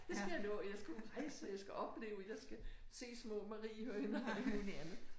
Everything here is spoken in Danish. Det skal jeg nå jeg skal ud rejse jeg skal opleve jeg skal se små mariehøner alt muligt andet